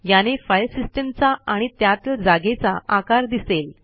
याने फाईल सिस्टीमचा आणि त्यातील जागेचा आकार दिसेल